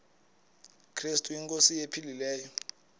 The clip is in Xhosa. krestu inkosi ephilileyo